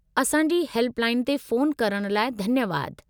असांजी हेल्पलाइन ते फ़ोन करणु लाइ धन्यवादु।